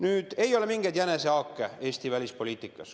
Nüüd, ei ole mingeid jänesehaake Eesti välispoliitikas.